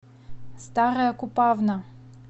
старая купавна